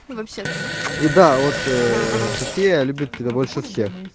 вообще даже и да вот софия любит тебя больше всех